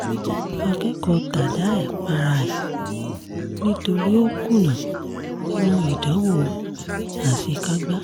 akẹ́kọ̀ọ́ tadae para ẹ̀ nítorí ó kùnà nínú ìdánwò àṣekágbá